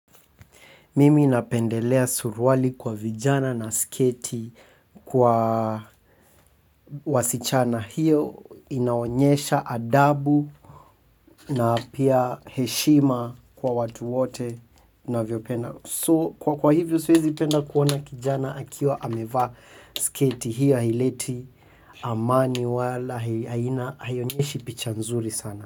Mimi napendelea suruali kwa vijana na sketi kwa wasichana hiyo inaonyesha adabu na pia heshima kwa watu wote navyopenda. So kwa hivyo siwezi penda kuona kijana akiwa amevaa sketi hiyo haileti amani wala haina haionyeshi picha nzuri sana.